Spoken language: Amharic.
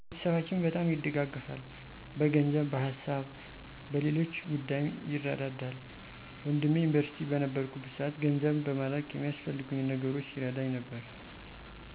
ቤተሰባችን በጣም ይደጋገፋል። በገንዘብ፣ በሀሳብና በሌሎች ጉዳይም ይረዳዳል። ወንድሜ ዩኒቨርስቲ በነበርኩበት ሰዓት ገንዘብ በመላክ የሚያስፈልጉኝን ነገሮች ሲረዳኝ ነበር።